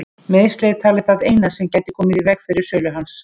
Meiðsli er talið það eina sem gæti komið í veg fyrir sölu hans.